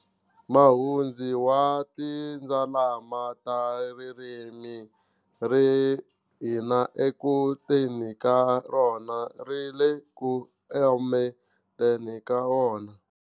Mahundzi wa tindzalama ta ririmi ri hina eku teni ka rona ri le ku emeteni ka rona.